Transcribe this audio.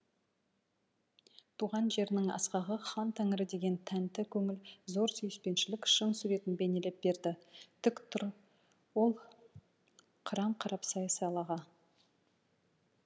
туған жерінің асқағы хан тәңірі деген тәнті көңіл зор сүйіспеншілік шың суретін бейнелеп берді тік тұр ол қырын қарап сай салаға